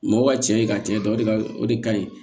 Mɔgɔ ka cɛ ye ka cɛ ta o de ka o de ka ɲi